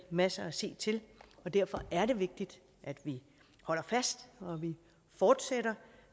masser at se til og derfor er det vigtigt at vi holder fast og fortsætter